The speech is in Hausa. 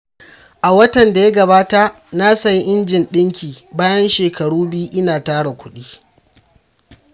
A watan da ya gabata, na sayi injin ɗinki bayan shekaru biyu ina tara kuɗi.